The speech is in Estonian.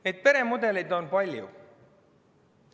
Neid peremudeleid on palju.